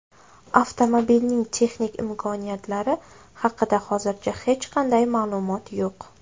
Avtomobilning texnik imkoniyatlari haqida hozircha hech qanday ma’lumot yo‘q.